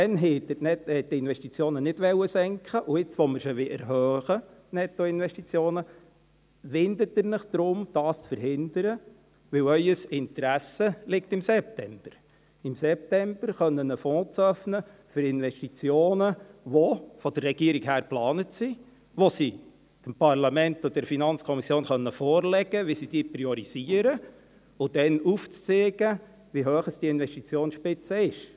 Damals wollten Sie die Investitionen nicht senken und jetzt, wo wir sie erhöhen wollen, die Nettoinvestitionen, winden Sie sich und wollen dies verhindern, weil Ihr Interesse im September liegt, um dann im September einen Fonds eröffnen zu können – für Investitionen, welche von der Regierung geplant sind, welche diese dem Parlament und der FiKo vorlegen kann, um sie zu priorisieren und dann aufzeigen, wie hoch die Investitionsspitze ist.